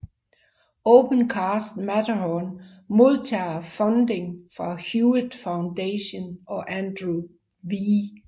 OpenCast Matterhorn modtager funding fra Hewlett Foundation og Andrew W